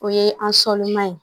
O ye an sɔliman ye